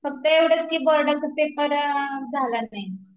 फक्त एवढंच की बोर्डाचा पेपर झाला नाही